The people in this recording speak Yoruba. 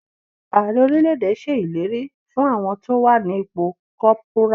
Ààrẹ orílẹ̀ èdè ṣe ìlérí fún àwọn tó wà ní ipò corporal.